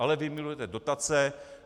Ale vy milujete dotace.